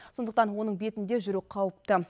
сондықтан оның бетінде жүру қауіпті